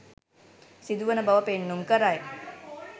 සිදුවන බව පෙන්නුම් කරයි.